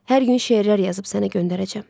Hər gün şeirlər yazıb sənə göndərəcəm.